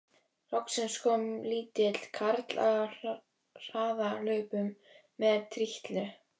Loksins kom lítill karl á harðahlaupum með trillu.